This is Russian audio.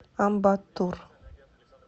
амбаттур